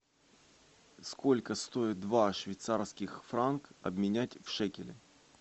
сколько стоит два швейцарских франка обменять в шекели